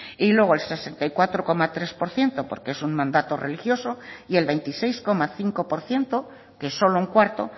y luego el sesenta y cuatro coma tres por ciento porque es un mandato religioso y el veintiséis coma cinco por ciento que solo en cuarto